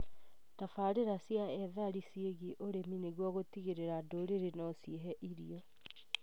Tabarĩra cia ethari ciĩgiĩ ũrĩmi nĩguo gũtigĩrĩra ndũrĩrĩ nociĩhe irio